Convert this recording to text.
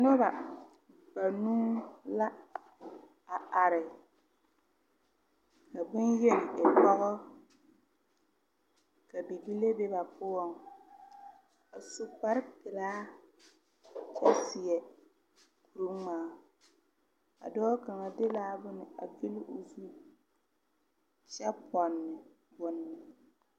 Noba banuu la a are ka bonyeni e pogɔ ka bibile be ba poɔŋ a su kparepilaa seɛ kuri ngmaa a dɔɔ kaŋa de la bon a vile o zu kyɛ pɔne bone.